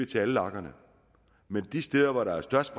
til alle lagerne men de steder hvor der er størst